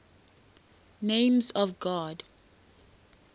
names of god